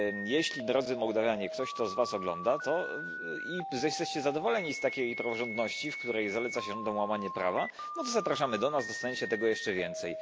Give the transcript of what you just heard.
Jeśli, drodzy Mołdawianie, ktoś z was to ogląda i jesteście zadowoleni z takiej praworządności, w której zaleca się łamanie prawa, to zapraszamy do nas, dostaniecie tego jeszcze więcej.